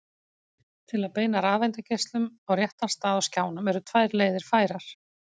til að beina rafeindageislanum á réttan stað á skjánum eru tvær leiðir færar